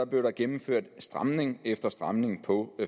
blev der gennemført stramning efter stramning på